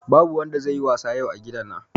Babu wanda zai yi wasa yau a gidan nan